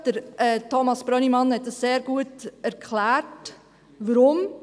Thomas Brönnimann hat sehr gut erklärt, weshalb.